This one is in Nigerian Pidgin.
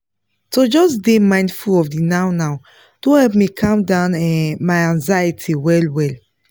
to just dey mindful of the now-now don help me cam down um my anxiety well well